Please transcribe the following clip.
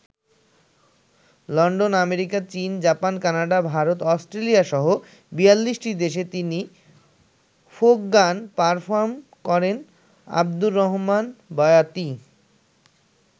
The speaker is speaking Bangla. লন্ডন, আমেরিকা, চীন, জাপান, কানাডা, ভারত, অস্ট্রেলিয়াসহ ৪২টি দেশে তিনি ফোক গান পারফর্ম করেন আবদুর রহমান বয়াতি।